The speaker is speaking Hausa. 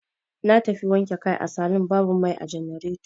Na tafi wanke kai a salun babu mai a jannareto.